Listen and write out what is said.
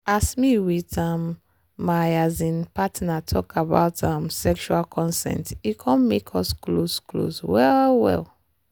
as me with um my um partner talk about um sexual consent e come make us close close well well.